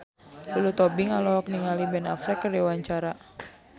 Lulu Tobing olohok ningali Ben Affleck keur diwawancara